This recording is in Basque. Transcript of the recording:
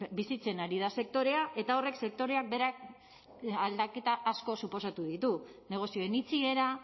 bizitzen ari da sektorea eta horrek sektorean beran aldaketa asko suposatu ditu negozioen itxiera